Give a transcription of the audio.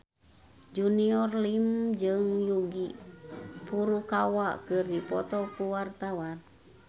Junior Liem jeung Yuki Furukawa keur dipoto ku wartawan